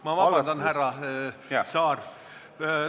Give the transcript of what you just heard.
Ma vabandan, härra Saar!